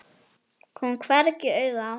Kom hvergi auga á hana.